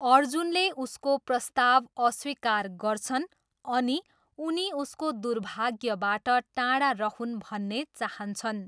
अर्जुनले उसको प्रस्ताव अस्वीकार गर्छन् अनि उनी उसको दुर्भाग्यबाट टाढा रहून् भन्ने चाहन्छन्।